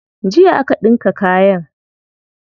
Jiya aka ɗinka kayan.